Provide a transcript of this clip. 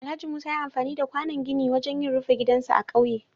Alhaji Musa ya yi amfani da kwànon gini wajen yin rufe gidansa a ƙauye.